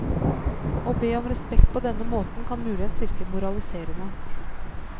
Å be om respekt på denne måten kan muligens virke moraliserende.